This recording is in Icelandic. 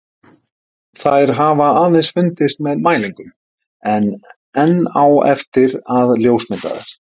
Þær hafa aðeins fundist með mælingum en enn á eftir að ljósmynda þær.